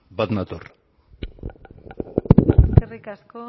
bat nator eskerrik asko